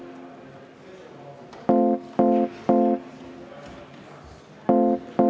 Ettepanek ei leidnud toetust.